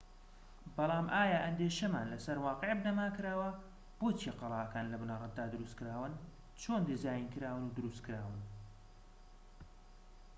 بەڵام ئایا ئەندێشەمان لەسەر واقیع بنەما کراوە بۆچی قەڵاکان لە بنەرەتدا دروستکراون چۆن دیزاینکراون و دروستکراون